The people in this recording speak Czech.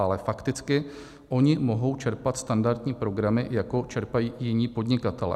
Ale fakticky oni mohou čerpat standardní programy, jako čerpají jiní podnikatelé.